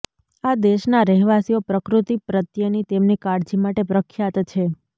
આ દેશના રહેવાસીઓ પ્રકૃતિ પ્રત્યેની તેમની કાળજી માટે પ્રખ્યાત છે